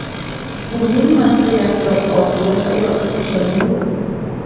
Bu ming marta yaxshiroq osuda hayot, ishonavering.